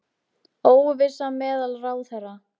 Óvissa meðal ráðherra